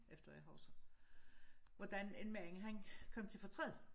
Efter hvad jeg husker hvordan en mand han kom til fortræd